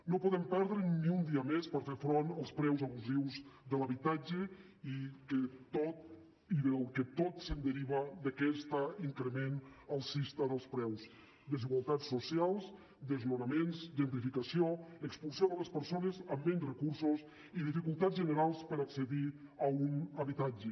no podem perdre ni un dia més per fer front als preus abusius de l’habitatge i de tot el que es deriva d’aquest increment alcista dels preus desigualtats socials desnonaments gentrificació expulsió de les persones amb menys recursos i dificultats generals per accedir a un habitatge